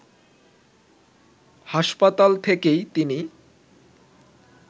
হাসপাতাল থেকেই তিনি